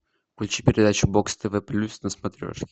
включи передачу бокс тв плюс на смотрешке